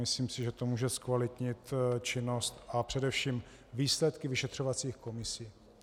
Myslím si, že to může zkvalitnit činnost a především výsledky vyšetřovacích komisí.